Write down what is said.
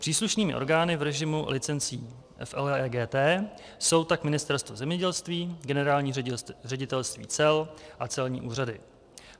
Příslušnými orgány v režimu licencí FLEGT jsou tak Ministerstvo zemědělství, Generální ředitelství cel a celní úřady.